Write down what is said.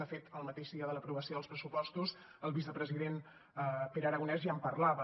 de fet el mateix dia de l’aprovació dels pressupostos el vicepresident pere aragonès ja en parlava